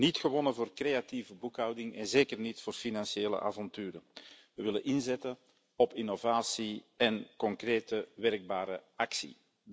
We lopen niet warm voor creatieve boekhouding en zeker niet voor financiële avonturen. We willen inzetten op innovatie en concrete, werkbare actie.